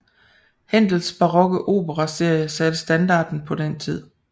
Händels barokke opere serie satte standarden på den tid